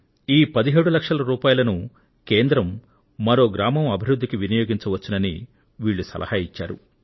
ఈ 17 లక్షల రూపాయలను కేంద్రం మరో గ్రామం అభివృద్ధికి వినియోగించవచ్చునని వీళ్లు సలహా ఇచ్చారు